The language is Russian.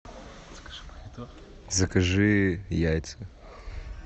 закажи яйца